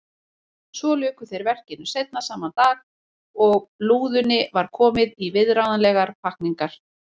Svo luku þeir verkinu seinna sama dag og lúðunni var komið í viðráðanlegar pakkningar.